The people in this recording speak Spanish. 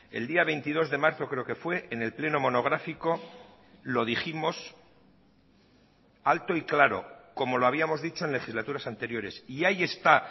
el día veintidós de marzo creo que fue en el pleno monográfico lo dijimos alto y claro como lo habíamos dicho en legislaturas anteriores y ahí está